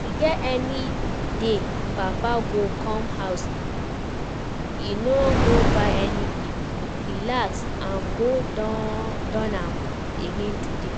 E get any day papa go come house e no go buy anything? relax, im go do am again today